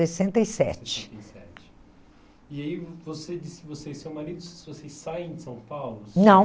sessenta e sete. Sessenta e sete. E aí, você disse que você e seu marido, vocês saem de São Paulo? Não.